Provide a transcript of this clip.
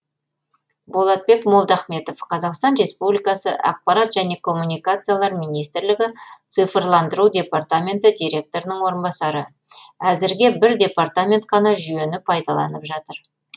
болатбек молдахметов қазақстан республикасы ақпарат және коммуникациялар министрлігі цифрландыру департаменті директорының орынбасары әзірге бір департамент қана жүйені пайдаланып жатыр